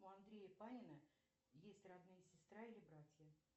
у андрея панина есть родные сестра или братья